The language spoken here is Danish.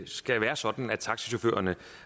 skal være sådan at taxachaufførerne